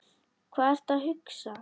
Hvað ertu að hugsa?